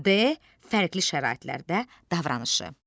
D. fərqli şəraitlərdə davranışı.